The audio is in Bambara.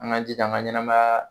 An ka jija an ka ɲɛnamaya